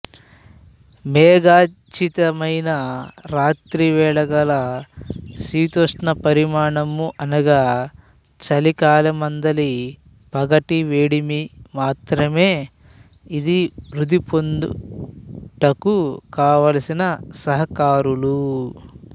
మేఘాఛ్చాదితమైన రాత్రివేళగల శీతోష్ణ పరిమాణము అనగా చలికాలమందలి పగటి వేడిమి మాత్రమే ఇది వృద్ధి పొందుటకు కావలసిన సహకారులు